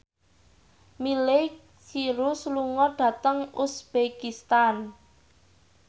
Miley Cyrus lunga dhateng uzbekistan